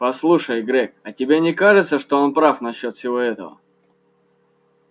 послушай грег а тебе не кажется что он прав насчёт всего этого